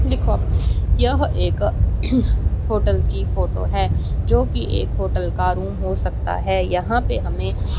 यह एक होटल की फोटो है जो की एक होटल का रूम हो सकता है यहां पे हमें--